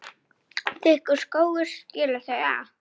Þykkur skógur skilur þau að.